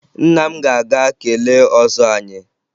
Nne m ga-aga kelee ọzọ anyị